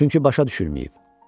Çünki başa düşülməyib.